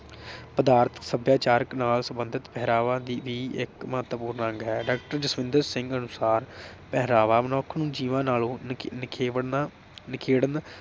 ਪਦਾਰਥਕ ਸਭਿਆਚਾਰ ਨਾਲ ਸੰਬੰਧਤ ਪਹਿਰਾਵਾ ਦੀ ਵੀ ਇਕ ਮਹੱਤਵਪੂਰਨ ਅੰਗ ਹੈ। doctor ਜਸਵਿੰਦਰ ਸਿੰਘ ਅਨੁਸਾਰ ਪਹਿਰਾਵਾ ਮਨੁੱਖ ਨੂੰ ਜੀਵਨ ਨਾਲੋਂ ਨਿਖੇਵੜਨਾ ਨਿਖੇੜਨ